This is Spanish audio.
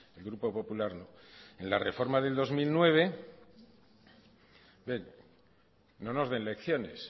el grupo popular no en la reforma de dos mil nueve bien no nos den lecciones